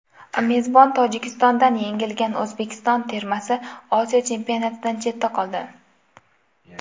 Mezbon Tojikistondan yengilgan O‘zbekiston termasi Osiyo Chempionatidan chetda qoldi.